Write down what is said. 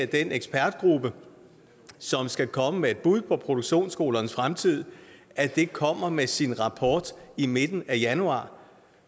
den ekspertgruppe som skal komme med et bud på produktionsskolernes fremtid kommer med sin rapport i midten af januar